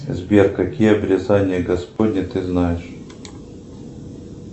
сбер какие отрицания господни ты знаешь